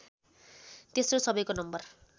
तेस्रो सबैको नम्बर